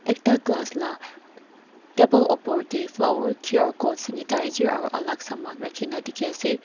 ekta glass la table upor te flower Q R code dairy aro alak saman rakhi kena dekhi ase.